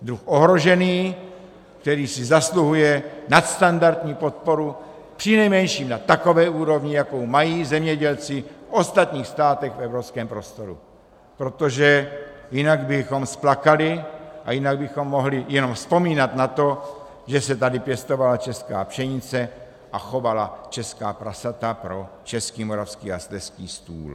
Druh ohrožený, který si zasluhuje nadstandardní podporu, přinejmenším na takové úrovni, jakou mají zemědělci v ostatních státech v evropském prostoru, protože jinak bychom splakali a jinak bychom mohli jenom vzpomínat na to, že se tady pěstovala česká pšenice a chovala česká prasata pro český, moravský a slezský stůl.